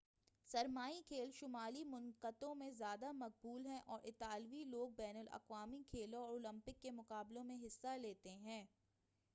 سرمائی کھیل شمالی منطقوں میں زیادہ مقبول ہیں اور اطالوی لوگ بین الاقوامی کھیلوں اور اولمپک کے مقابلوں میں حصہ لیتے ہیں